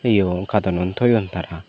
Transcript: iyogun carton un thoyun tara.